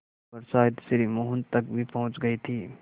खबर शायद श्री मोहन तक भी पहुँच गई थी